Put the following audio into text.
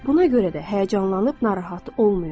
Buna görə də həyəcanlanıb narahat olmayın.